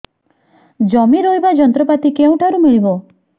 ଜମି ରୋଇବା ଯନ୍ତ୍ରପାତି କେଉଁଠାରୁ ମିଳିବ